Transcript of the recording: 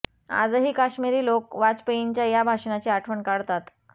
आजही काश्मिरी लोक वाजपेयींच्या या भाषणाची आठवण काढतात